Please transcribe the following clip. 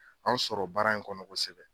An sɔrɔ baara in kɔnɔ kosɛbɛ